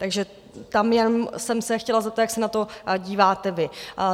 Takže tam jsem se jen chtěla zeptat, jak se na to díváte vy.